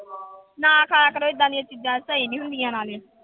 ਨਾ ਖਾਇਆ ਕਰੋ ਏਦਾਂ ਦੀਆਂ ਚੀਜ਼ਾਂ ਸਹੀ ਨੀ ਹੁੰਦੀਆਂ ਨਾਲੇ।